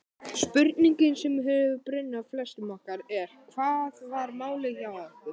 Spurningin sem hefur brunnið á flestum okkar er: Hvað var málið hjá okkur?